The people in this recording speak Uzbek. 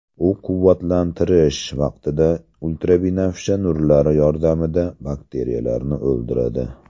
U quvvatlantirish vaqtida ultrabinafsha nurlari yordamida bakteriyalarni o‘ldiradi.